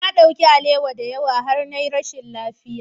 Na ɗauki alewa da yawa har na yi rashin lafiya.